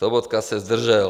- Sobotka se zdržel.